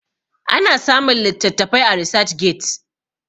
ana samun litattafai a research get